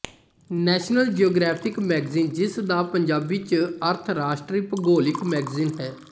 national Geographic magazine ਜਿਸ ਦਾ ਪੰਜਾਬੀ ਚ ਅਰਥ ਰਾਸ਼ਟਰੀ ਭੂਗੋਲਿਕ ਮੈਗਜ਼ੀਨ ਹੈ